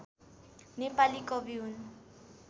नेपाली कवि हुन्